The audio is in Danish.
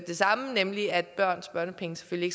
det samme nemlig at børns børnepenge selvfølgelig